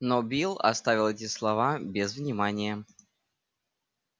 но билл оставил эти слова без внимания